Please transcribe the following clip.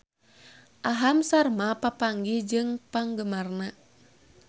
Aham Sharma papanggih jeung penggemarna